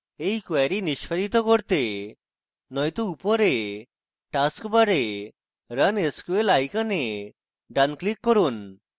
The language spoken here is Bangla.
এই query নিস্পাদিত করতে নয়তো উপরে task bar run sql icon ডান click run